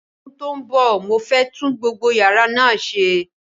Ní ọdún tó ń bọ̀, mo fẹ́ tún gbogbo yàrá náà ṣe.